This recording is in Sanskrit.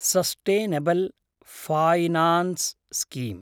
sustainable finance scheme